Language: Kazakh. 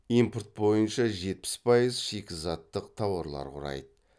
импорт бойынша жетпіс пайыз шикізаттық тауарлар құрайды